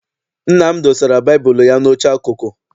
Nna m dosara baịbụl ụ ya n'oche akụkụ.